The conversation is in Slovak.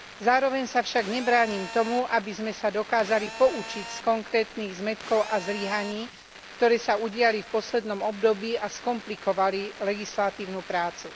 Zároveň sa však nebránim tomu, aby sme sa dokázali poučiť z konkrétnych zmätkov a zlyhaní, ktoré sa udiali v poslednom období a skomplikovali legislatívnu prácu.